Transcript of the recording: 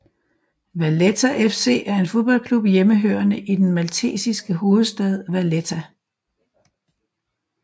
Valletta FC er en fodboldklub hjemmehørende i den maltesiske hovedstad Valletta